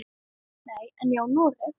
Nei, en ég á Noreg.